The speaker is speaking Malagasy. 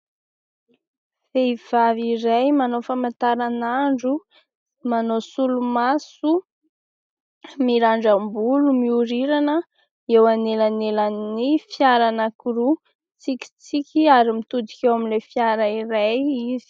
Vehivavy iray manao famantaran'andro, manao solomaso, mirandram-bolo, miorirana eo anelanelan'ny fiara anankiroa ; mitsikitsiky ary mitodika eo amin'ilay fiara iray izy.